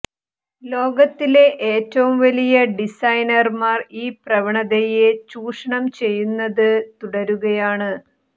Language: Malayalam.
ലോകത്തിലെ ഏറ്റവും വലിയ ഡിസൈനർമാർ ഈ പ്രവണതയെ ചൂഷണം ചെയ്യുന്നത് തുടരുകയാണ്